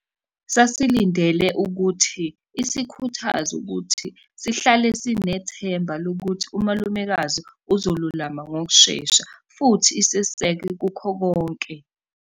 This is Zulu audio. Sasilindele ukuthi isikhuthaze ukuthi sihlale sinethemba lokuthi umalumekazi uzolulama ngokushesha futhi iseseke kukho konke.